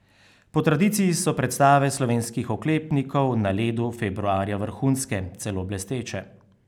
Po tradiciji so predstave slovenskih oklepnikov na ledu februarja vrhunske, celo blesteče.